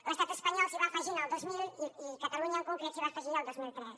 l’estat espanyol s’hi va afegir en el dos mil i catalunya en concret s’hi va afegir el dos mil tres